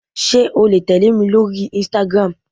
Sé o le tèlémi lórí "Instagram"